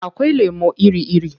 Akwai lemo iri-iri.